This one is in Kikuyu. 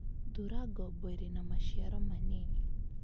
Thura ngombo ĩrĩ na maciaro manini.